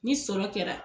Ni sɔrɔ kɛra